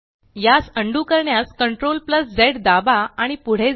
यास अन्डू करण्यास Ctrl झ दाबा आणि पुढे जा